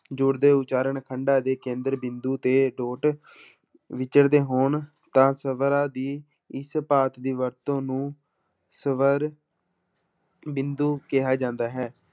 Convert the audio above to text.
ਜੁੜਦੇ ਉਚਾਰਨ ਖੰਡਾਂ ਦੇ ਕੇਂਦਰ ਬਿੰਦੂ ਤੇ ਵਿਚਰਦੇ ਹੋਣ ਤਾਂ ਸ਼ਬਦਾਂ ਦੀ ਇਸ ਪਾਰਟ ਦੀ ਵਰਤੋਂ ਨੂੰ ਸਵਰ ਬਿੰਦੂ ਕਿਹਾ ਜਾਂਦਾ ਹੈ।